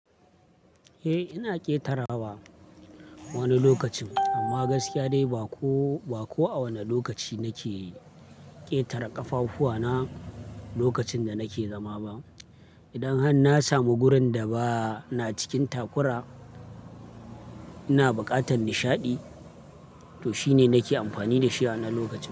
Eh, ina ƙetara wa wani lokacin amma gaskiya dai ba ko, ba ko a wane lokaci nake ƙetare ƙafafuwana lokacin da nake zama ba. Idan har na samu gurin da ba na cikin takura, ina buƙatar nishaɗi, to shi ne nake amfani da shi a wannan lokaci.